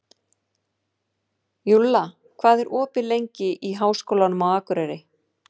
Júlla, hvað er opið lengi í Háskólanum á Akureyri?